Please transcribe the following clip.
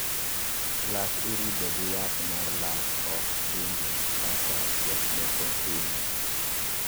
Lak irudho gi yath mar lak ok chumbi kaka jok moko time